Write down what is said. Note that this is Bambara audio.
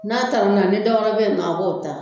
N'a talona ni dɔw wɛrɛ be yen nɔ a b'o ta